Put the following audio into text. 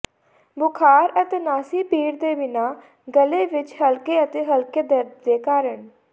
ਬੁਖਾਰ ਅਤੇ ਨਾਸੀ ਭੀੜ ਦੇ ਬਿਨਾਂ ਗਲੇ ਵਿਚ ਹਲਕੇ ਅਤੇ ਹਲਕੇ ਦਰਦ ਦੇ ਕਾਰਨ